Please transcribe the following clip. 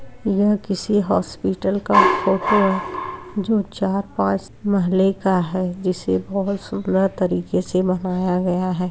यह किसी हॉस्पिटल का फोटो है जो चार पांच महले का है जिसे बहुत सुन्दर तरीके से बनाया गया है।